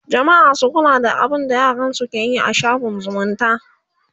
jamma'a su kula da abinda yaransu keyi a shaffin zumunta